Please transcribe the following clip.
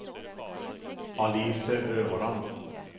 Alice Øverland